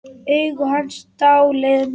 Augu hans dáleiða mig.